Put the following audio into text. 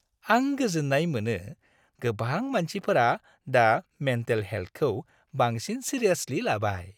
आं गोजोन्नाय मोनो गोबां मानसिफोरा दा मेन्टेल हेल्थखौ बांसिन सिरियासलि लाबाय।